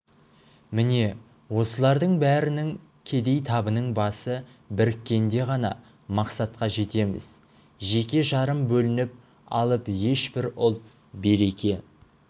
міне осылардың бәрінің кедей табының басы біріккенде ғана мақсатқа жетеміз жеке-жарым бөлініп алып ешбір ұлт береке